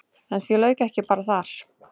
En því lauk ekki bara þar.